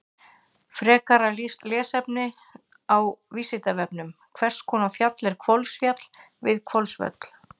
Frekara lesefni á Vísindavefnum: Hvers konar fjall er Hvolsfjall við Hvolsvöll?